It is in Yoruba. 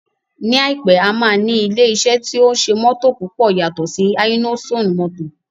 Ní àìpé, a máa ní ilé iṣẹ́ tí ó ń ṣe mótò púpọ̀ yàtọ̀ sí Innoson motors